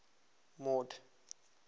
mord